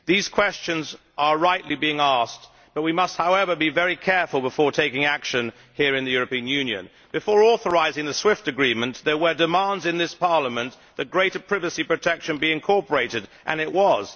These questions are rightly being asked. However, we must be very careful before taking action here in the European Union. Before authorising the SWIFT Agreement, there were demands in this Parliament for greater privacy protection to be incorporated, and it was.